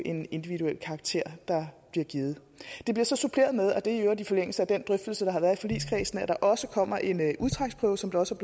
en individuel karakter der bliver givet det bliver så suppleret med og det er i øvrigt i forlængelse af den drøftelse der har været i forligskredsen at der også kommer en udtræksprøve som det også